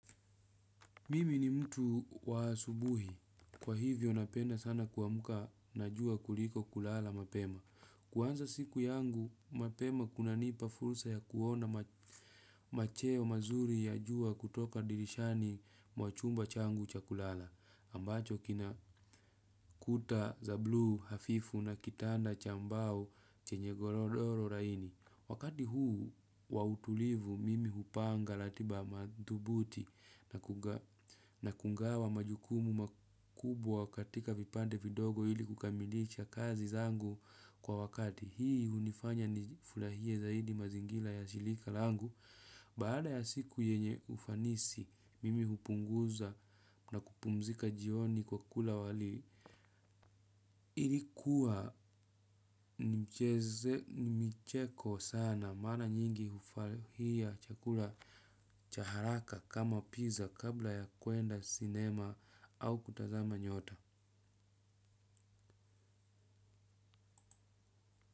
Mimi ni mtu wa asubuhi. Kwa hivyo napenda sana kuamka na jua kuliko kulala mapema. Kuanza siku yangu, mapema kunanipa fursa ya kuona macheo mazuri ya jua kutoka dirishani mwa chumba changu cha kulala. Ambacho kina kuta za blu hafifu na kitanda cha mbao chenye golodoro laini. Wakati huu wa utulivu mimi hupanga ratiba madhubuti na kungawa majukumu makubwa katika vipande vidogo ili kukamilisha kazi zangu kwa wakati. Hii hunifanya ni furahie zaidi mazingira ya shirika langu baada ya siku yenye ufanisi mimi hupunguza na kupumzika jioni kwa kula wali. Ili kuwa ni micheko sana maana nyingi hufurahia chakula cha haraka kama pizza kabla ya kuenda cinema au kutazama nyota.